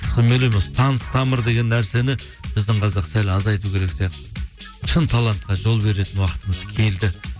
сол мен ойлаймын осы таныс тамыр деген нәрсені біздің қазақ сәл азайту керек сияқты шын талантқа жол беретін уақытымыз келді